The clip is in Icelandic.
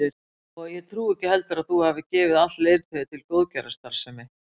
Og ég trúi ekki heldur að þú hafir gefið allt leirtauið til góðgerðarstarfsemi